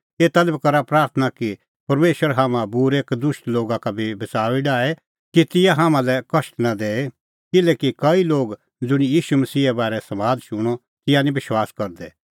एता लै बी करा प्राथणां कि परमेशर हाम्हां बूरै और कदुष्ट लोगा का बी बच़ाऊई डाहे कि तिंयां हाम्हां लै कष्ट नां दैए किल्हैकि कई लोग ज़ुंणी ईशू मसीहे बारै समाद शूणअ तिंयां निं विश्वास करदै